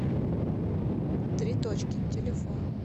три точки телефон